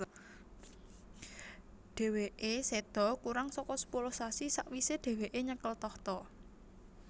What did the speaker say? Dhèwèké séda kurang saka sepuluh sasi sawisé dhèwèké nyekel tahta